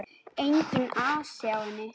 Enginn asi á henni.